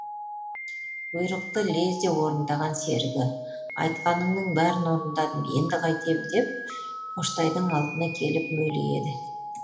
бұйрықты лезде орындаған серігі айтқаныңның бәрін орындадым енді қайтем деп қоштайдың алдына келіп мөлиеді